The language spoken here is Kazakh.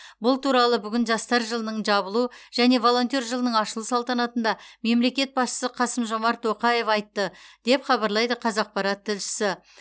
бұл туралы бүгін жастар жылының жабылу және волонтер жылының ашылу салтанатында мемлекет басшысы қасым жомарт тоқаев айтты деп хабарлайды қазақпарат тілшісі